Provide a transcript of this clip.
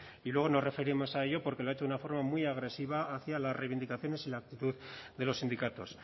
y luego nos referimos a ello porque lo ha hecho de una forma muy agresiva hacia las reivindicaciones y la actitud de los sindicatos